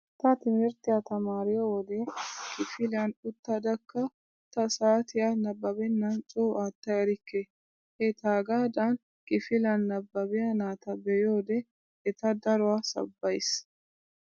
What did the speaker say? Ta timirttiya tamaariyo wode kifiliyan uttadakka ta saatiya nabbabennan coo aatta erikke. He taagaadan kifiliyan nabbabiya naata be'iyode eta daruwa sabbays.